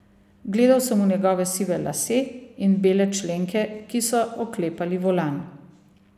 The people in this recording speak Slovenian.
Gledal sem v njegove sive lase in bele členke, ki so oklepali volan.